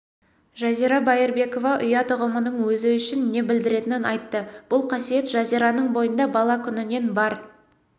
жазира байырбекова ұят ұғымының өзі үшін не білдіретінін айтты бұл қасиет жазираның бойында бала күнінен бар